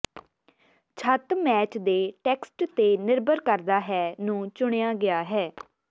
ਛੱਤ ਮੈਚ ਦੇ ਟੈਕਸਟ ਤੇ ਨਿਰਭਰ ਕਰਦਾ ਹੈ ਨੂੰ ਚੁਣਿਆ ਗਿਆ ਹੈ